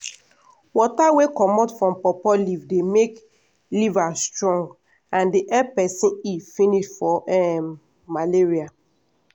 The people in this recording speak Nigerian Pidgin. water wey comot from pawpaw leaf dey make liver strong and dey help peson heal finish from um malaria.